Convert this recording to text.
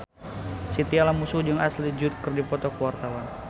Chintya Lamusu jeung Ashley Judd keur dipoto ku wartawan